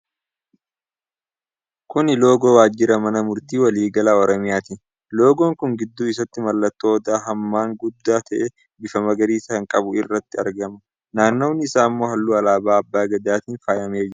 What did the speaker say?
Kuni loogoo waajira Mana Murtii Walii Galaa Oromiyaati. Loogoon kun gidduu isaatti mallattoo Odoo hammaan guddaa ta'e, bifa magariisa kan qabuti irratti argama. Naannawi isaa ammoo halluu alaabaa Abbaa Gadaatiin faayamee jira.